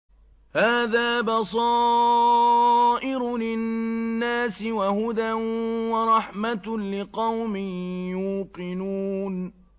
هَٰذَا بَصَائِرُ لِلنَّاسِ وَهُدًى وَرَحْمَةٌ لِّقَوْمٍ يُوقِنُونَ